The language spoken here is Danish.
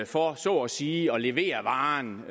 for så at sige at levere varen